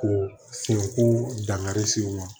Ko senko dankari se u ma